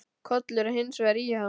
Kollur var hins vegar í ham.